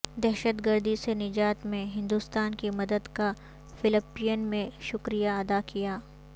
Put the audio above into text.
دہشت گردی سے نجات میں ہندوستان کی مدد کا فلپین نے شکریہ ادا کیا